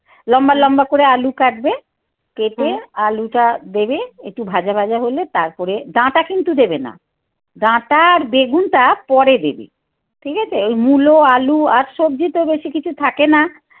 লম্বা লম্বা করে আলু কাটবে. কেটে আলুটা দেবে. একটু ভাজা ভাজা হলে তারপরে ডাঁটা কিন্তু দেবে না. ডাঁটা আর বেগুনটা পরে দেবে. ঠিক আছে? ওই মুলো, আলু আর সবজিতেও বেশি কিছু থাকে না